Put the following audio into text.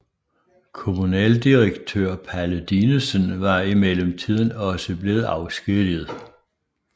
Kommunaldirektør Palle Dinesen var i mellemtiden også blevet afskediget